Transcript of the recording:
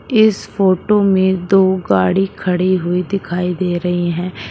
इस फोटो में दो गाड़ी खड़ी हुई दिखाई दे रही हैं।